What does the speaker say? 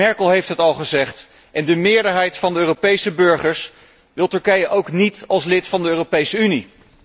Merkel heeft het al gezegd en de meerderheid van de Europese burgers wil Turkije ook niet als lid van de Europese Unie.